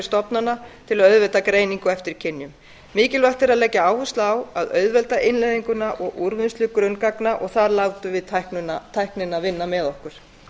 stofnana til að auðvelda greiningu eftir kynjum mikilvægt er að leggja áherslu á að auðvelda innleiðinguna og úrvinnslu grunngagna þar látum við tæknina vinna með okkur